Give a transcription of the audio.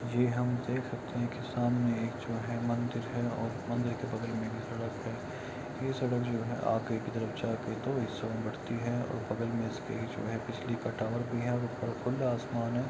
ये हम देख सकते है कि सामने एक जो है मंदिर है और मंदिर के बगल में भी सड़क है ये सड़क जो है आगे की तरफ जाकर और बगल में इसके जो है बिजली का टावर भी है और ऊपर खुला आसमान --